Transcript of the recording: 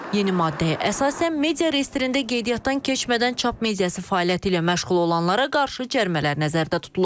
Yeni maddəyə əsasən media reyestrində qeydiyyatdan keçmədən çap mediası fəaliyyəti ilə məşğul olanlara qarşı cərimələr nəzərdə tutulur.